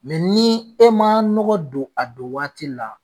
ni e ma nɔgɔ don a don waati la.